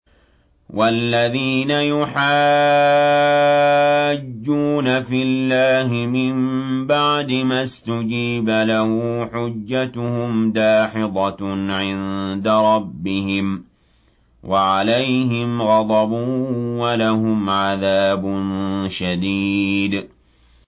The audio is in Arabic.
وَالَّذِينَ يُحَاجُّونَ فِي اللَّهِ مِن بَعْدِ مَا اسْتُجِيبَ لَهُ حُجَّتُهُمْ دَاحِضَةٌ عِندَ رَبِّهِمْ وَعَلَيْهِمْ غَضَبٌ وَلَهُمْ عَذَابٌ شَدِيدٌ